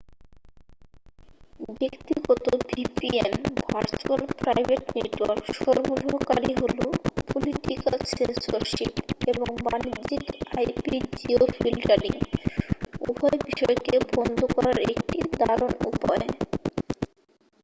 ব্যক্তিগত vpn virtual private network সরবরাহকারী হলো পলিটিকাল সেন্সরশিপ এবং বাণিজ্যিক আইপি-জিও ফিল্টারিং উভয় বিষয়কে বন্ধ করার একটি দারুণ উপায়।